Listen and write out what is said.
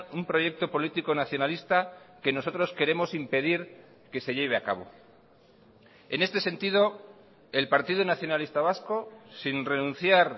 un proyecto político nacionalista que nosotros queremos impedir que se lleve a cabo en este sentido el partido nacionalista vasco sin renunciar